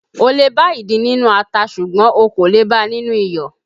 O lè bá ìdin nínú ata ṣùgbọ́n o kò le bá a nínú iyọ̀